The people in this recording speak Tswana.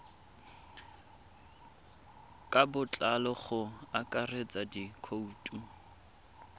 ka botlalo go akaretsa dikhoutu